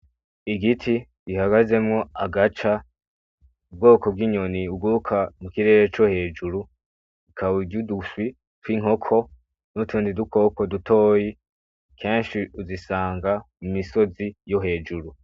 Igiti gihagazemwo agaca, ubwoko bw'inyoni buguruka mu kirere co hejuru, ikaba irya uduswi tw'inkoko n'utundi dukoko dutoyi kenshi uzisanga mu misozi yo hejuru.